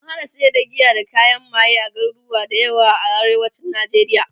an hana sayar da giya da kayan maye a garuruwa da yawa a arewacin nijeriya